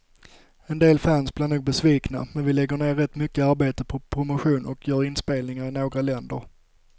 En del fans blir nog besvikna, men vi lägger ner rätt mycket arbete på promotion och gör spelningar i några länder.